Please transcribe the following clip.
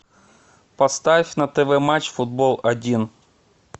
поставь на тв матч футбол один